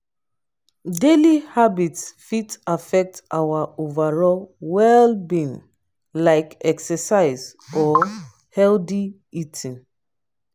daily habits fit affect our overall well-being like exercise or healthy eating.